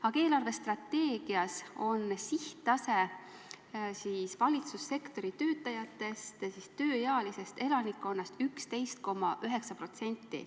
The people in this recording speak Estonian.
Aga eelarvestrateegias on sihttase, et valitsussektori töötajad moodustaksid tööealisest elanikkonnast 11,9%.